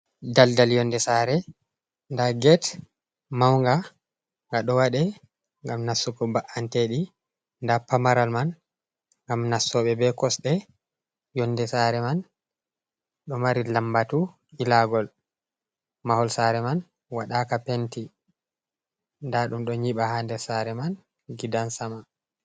Daldal yonnde saare, ndaa get mawnga nga ɗo waɗee ngam nastugo ba’anteeji, ndaa pamaral man ngam nastooɓe bee kosɗe. Yonnde saare man ɗo mari lammbatu ilaagol, mahol saare man waɗaaka penti, ndaa ɗum ɗo nyiɓa haa nder saare man gidan sama.